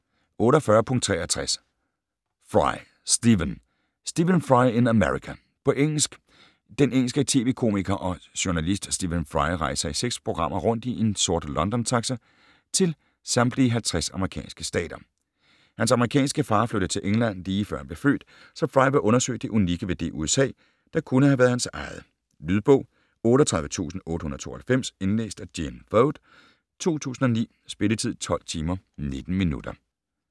48.63 Fry, Stephen: Stephen Fry in America På engelsk. Den engelske tv-komiker og journalist Stephen Fry rejser i seks programmer rundt i en sort London-taxa til samtlige 50 amerikanske stater. Hans amerikanske far flyttede til England lige før han blev født, så Fry vil undersøge det unikke ved det USA, der kunne have været hans eget. Lydbog 38892 Indlæst af Gene Foad, 2009. Spilletid: 12 timer, 19 minutter.